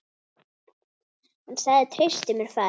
Hann sagði: Treystu mér, faðir.